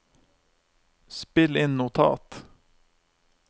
spill inn notat